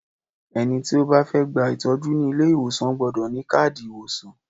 Ẹni tí ó bá fẹ́ gba ìtọ́jú ní ilé ìwòsàn gbọ́dọ̀ ní káàdì ìwòsàn.